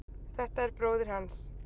Þetta er bróðir hans.